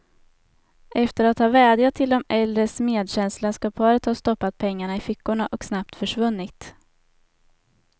Efter att ha vädjat till de äldres medkänsla skall paret ha stoppat pengarna i fickorna och snabbt försvunnit.